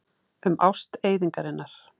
Um ást eyðingarinnar.